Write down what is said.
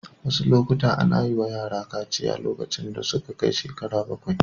A wasu lokuta ana yi wa yara kaciya lokacin da suka kai shekara bakwai.